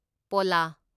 ꯄꯣꯂꯥ